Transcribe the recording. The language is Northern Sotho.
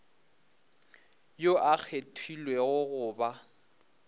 yoo a kgethilwego go ba